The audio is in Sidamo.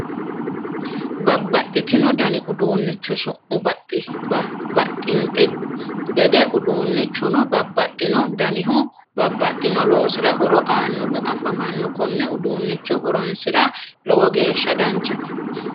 Babbaxxino dani uduunnicho su'mu baxxinte gede uduunnichuno babbaxxino danihu babbaxxino loosira horo aannohu afamanno konne uduunnicho horonsira lowo geeshsha danchate